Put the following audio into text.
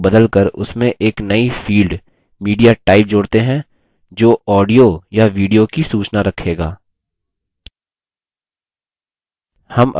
add table को बदलकर उसमें एक नई field mediatype जोड़ते हैं जो audio या video की सूचना रखेगा